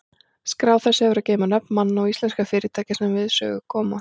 Skrá þessi hefur að geyma nöfn manna og íslenskra fyrirtækja, sem við sögu koma.